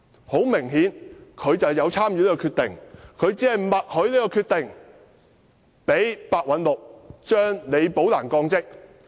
很明顯，梁振英有參與這項決定，他默許這項決定，讓白韞六將李寶蘭降職。